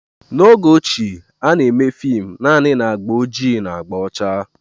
N'oge ochie, a na-eme fim naanị na agba ojii na agba ọcha